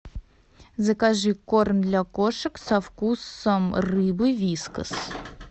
закажи корм для кошек со вкусом рыбы вискас